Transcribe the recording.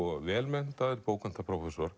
vel menntaður